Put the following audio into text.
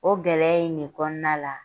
O gɛlɛya in de kɔnɔnana la